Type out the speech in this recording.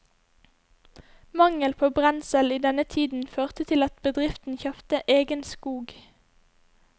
Mangel på brensel i denne tiden førte til at bedriften kjøpte egen skog.